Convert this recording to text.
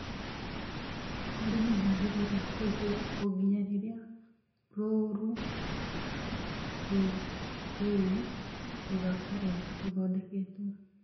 Mũrĩmĩ ndwagĩrĩirũo kũigwo o nginya rĩrĩa rũũru rũu rũgakorũo rũthondeketwo